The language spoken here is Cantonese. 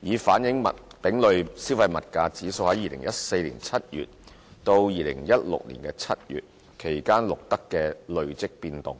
以反映丙類消費物價指數在2014年7月至2016年7月期間錄得的累積變動。